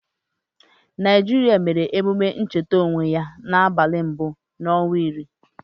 Naịjịrịa mere ememe ncheta nwereonwe ya n'abalị mbụ n'ọnwa iri.